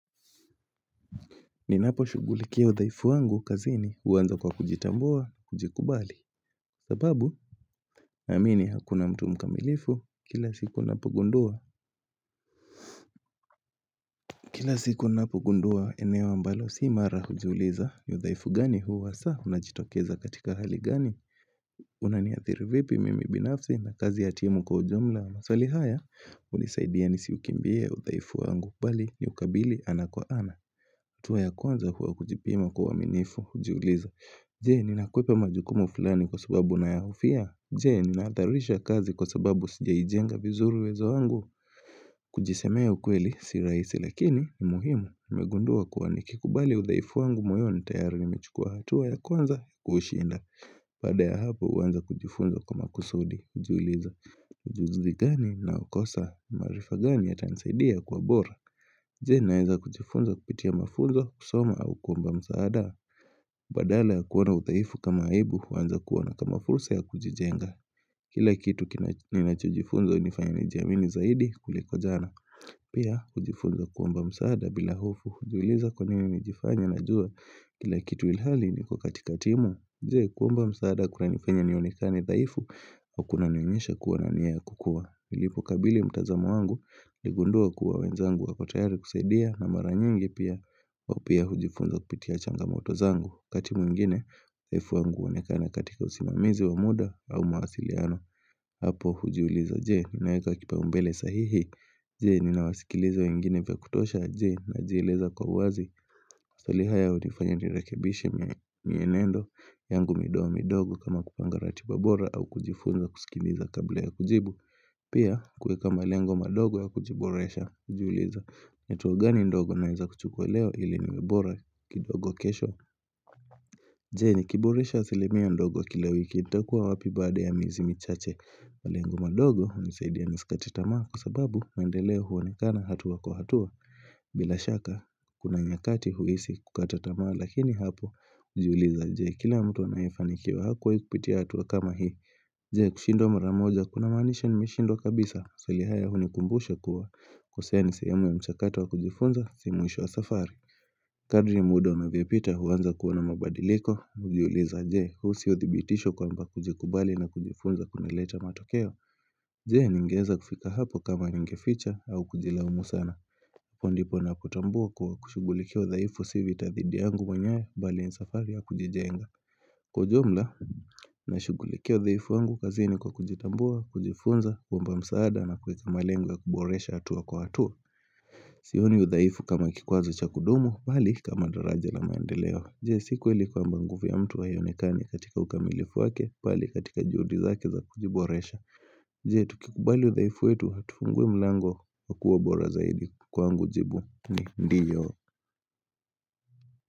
Ninaposhugulikia udhaifu wangu kazini huuanza kwa kujitambua na kujikubali sababu Naamini hakuna mtu mkamilifu kila siku napogundua Kila siku ninapogundua eneo ambalo si imara hujiuliza ni udhaifu gani huu hasaa unajitokeza katika hali gani Unaniathiri vipi mimi binafsi na kazi ya timu kwa ujumla? Maswali haya hunisaidia nisiukimbie udhaifu wangu bali niukabili ana kwa ana hatuwa ya kwanza huwa kujipima kwa uaminifu, hujiuliza. Je, ninakwepa majukumu fulani kwa sababu nayahofia? Je, ninatharisha kazi kwa sababu sijaijenga vizuru uwezo wangu? Kujisemea ukweli, si rahisi, lakini ni muhimu. Nimegundua kuwa nikikubali udhaifu wangu moyoni tayari nimechukua. Hatuwa ya kwanza, kuushinda. Baada ya hapo, huanza kujifunza kwa makusudi, hujiuliza. Ujuzi gani naukosa maarifa gani yatansaidia kwa bora? Jee naeza kujifunza kupitia mafunzo kusoma au kuomba msaada Badala ya kuona udhaifu kama aibu huanza kuoana kama fursa ya kujijenga Kila kitu ninachojifunza hunifanya nijiamini zaidi kuliko jana Pia kujifunza kuomba msaada bila hofu hujiuliza kwa nini nijifanya najua Kila kitu ilhali niko katika timu jee? Kuomba msaada kunanifanya nionekane dhaifu au kunanionyesha kuwa na niya ya kukua nilipokabili mtazamo wangu niligundua kuwa wenzangu wako tayari kusaidia na mara nyingi pia wao pia hujifunza kupitia changamoto zangu wakati mwingine, udhaifu wangu huonekana katika usimamizi wa muda au mawasiliano Hapo hujiuliza jee, ninaeka kipaumbele sahihi Jee, ninawasikiliza wengine vya kutosha jee najieleza kwa uwazi Swali haya hunifanya nirekibishe mienendo yangu midogo midogo kama kupanga ratiba bora au kujifunza kusikiliza kabla ya kujibu Pia kuweka malengo madogo ya kujiboresha ujiuliza ni cheo gani ndogo naeza kuchukuliwa ili niwe bora kidogo kesho Jee nikiboresha asilimia ndogo kila wiki nitakua wapi baada ya miezi michache malengo madogo hunisaidia nisikate tamaa kwa sababu maendeleo huonekana hatuwa kuhatua bila shaka kuna nyakati huisi kukata tamaa lakini hapo ujuliza jee, kile mtu anayefanikiwa hakuwai kupitia hatuwa kama hii Jee kushindwa mara moja kunamanisha nimeshindwa kabisa swali haya hunikumbusha kuwa kosea ni sehemu ya mchakato wa kujifunza si mwisho wa safari Kadri muda unavyopita huanza kuona mabadiliko ujiuliza jee kuhusu hio thibitisho kwamba kujikubali na kujifunza kunaleta matokeo? Jee ningeeza kufika hapo kama ningeficha au kujilaumu sana Hapo ndipo napotambua kuwa kushugulikia udhaifu si vita thidi yangu mwenyewe mbali ni safari ya kujijenga Kwa ujumla, nashugulikia udhaifu wangu kazini kwa kujitambua, kujifunza, kuomba msaada na kuweka malengo ya kuboresha hatuwa kwa hatuwa Sihoni udhaifu kama kikwazo cha kudumu, bali kama daraja la maendeleo Jee, si kweli kwamba nguvu ya ia mtu haionekani katika ukamilifu wake, bali katika juhudi zake za kujiboresha Jee, tukikubali udhaifu wetu, hatufunguwi mlango wa kua bora zaidi kwangu jibu ni ndiyo.